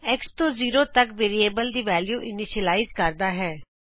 x0x ਤੋਂ zero ਤਕ variable ਦੀ ਵੈਲਿਉ ੲਨੀਸ਼ਿਯਲਾਇਜ਼ ਕਰਦਾ ਹੈ